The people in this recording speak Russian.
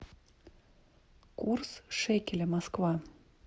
курс шекеля москва